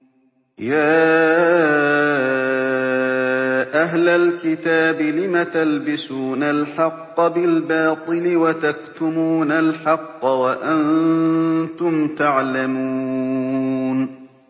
يَا أَهْلَ الْكِتَابِ لِمَ تَلْبِسُونَ الْحَقَّ بِالْبَاطِلِ وَتَكْتُمُونَ الْحَقَّ وَأَنتُمْ تَعْلَمُونَ